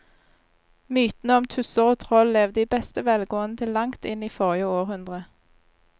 Mytene om tusser og troll levde i beste velgående til langt inn i forrige århundre.